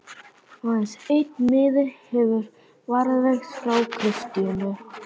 Aðeins einn miði hefur varðveist frá Kristínu